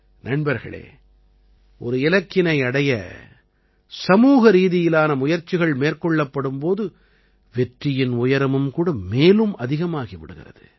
நண்பர்களே ஒரு இலக்கினை அடைய சமூகரீதியிலான முயற்சிகள் மேற்கொள்ளப்படும் போது வெற்றியின் உயரமும் கூட மேலும் அதிகமாகி விடுகிறது